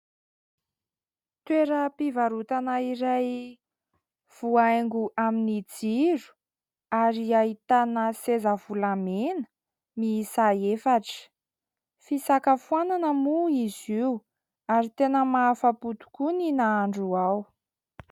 toera mpivarotana iray voaingo amin'ny jiro ary hahitana sezavolamena misa efatra fisaka foanana moa izy io ary tena mahafa-potokoa ny nahandro aho